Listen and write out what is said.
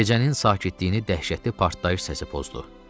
Gecənin sakitliyini dəhşətli partlayış səsi pozdu.